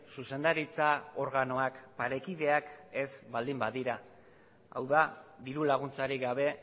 zuzendaritza organoak parekideak ez baldin badira hau da diru laguntzarik gabe